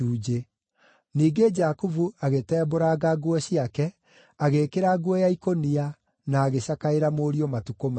Ningĩ Jakubu agĩtembũranga nguo ciake, agĩĩkĩra nguo ya ikũnia, na agĩcakaĩra mũriũ matukũ maingĩ.